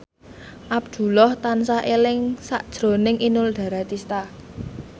Abdullah tansah eling sakjroning Inul Daratista